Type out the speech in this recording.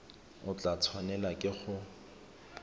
o tla tshwanelwa ke go